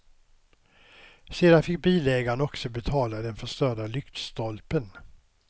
Sedan fick bilägaren också betala den förstörda lyktstolpen.